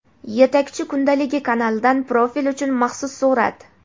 "Yetakchi kundaligi" kanalidan profil uchun maxsus surat.